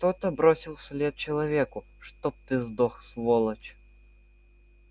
кто-то бросил вслед человеку чтоб ты сдох сволочь